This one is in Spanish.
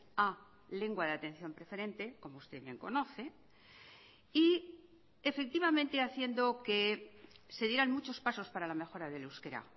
a lengua de atención preferente como usted bien conoce y efectivamente haciendo que se dieran muchos pasos para la mejora del euskera